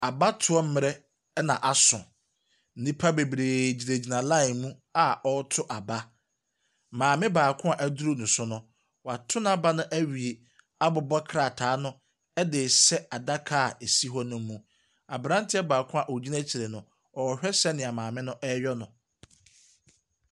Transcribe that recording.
Abatoɔ mmerɛ ɛna aso. Nnipa bebree gyinagyina line mu a ɔretɔ aba. Maame baako a ɛduru ne so no, woato naaba no ɛwie abobɔ krataa no ɛdeehyɛ adaka esi hɔ no mu. Abranteɛ baako a ɔgyina akyire no ɔrehwɛ sɛ nea maame no ɛreyɛ no.